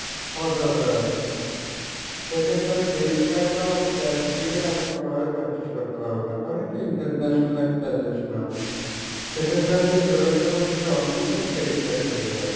আমার দরকার আছে, সেক্ষেত্রে আমি debit card বা আমি cash দিয়ে আমি কোনোভাবে purchase করতে পারবো না, কারন এটা international একটা transaction হবে, সেক্ষেত্রে আমি যে payment টা করবো সেটা only for credit card থেকেই হবে।